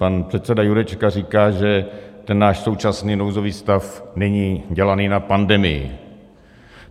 Pan předseda Jurečka říká, že ten náš současný nouzový stav není dělaný na pandemii.